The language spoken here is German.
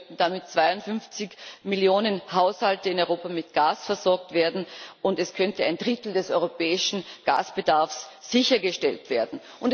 Es könnten damit 52 Millionen Haushalte in Europa mit Gas versorgt werden und es könnte ein Drittel des europäischen Gasbedarfs sichergestellt werden.